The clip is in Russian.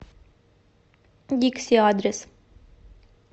дикси адрес